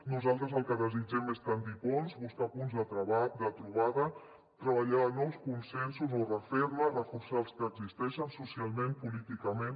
nosaltres el que desitgem és tendir ponts buscar punts de trobada treballar nous consensos o refer ne reforçar els que ja existeixen socialment políticament